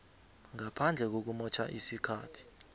ngaphandle kokumotjha isikhathi